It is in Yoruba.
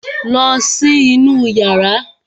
Lọ sí inú yàrá!